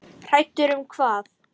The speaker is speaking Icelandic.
Hræddur um hvað?